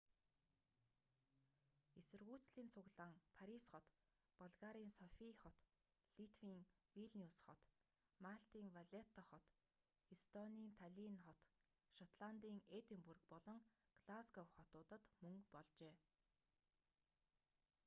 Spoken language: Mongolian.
эсэргүүцлийн цуглаан парис хот болгарын софий хот литвийн вилниус хот малтын валетта хот эстонийн таллинн хот шотландын эдинбург болон глазгов хотуудад мөн болжээ